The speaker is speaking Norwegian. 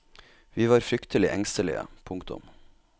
Vi var fryktelig engstelige. punktum